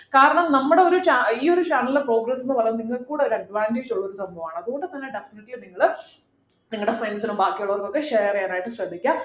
കാരണം നമ്മുടെ ഒരു channel ഈയൊരു channel ലെ progress എന്ന് പറയുന്നത് നിങ്ങൾക്ക് കൂടി ഒരു advantage ഉള്ള ഒരു സംഭവമാണ് അതുകൊണ്ട് തന്നെ definitely നിങ്ങൾ നിങ്ങളുടെ friends നും ബാക്കിയുള്ളവർക്കൊക്കെ share ചെയ്യാൻ ആയിട്ട് ശ്രദ്ധിക്കുക